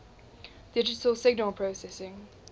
digital signal processing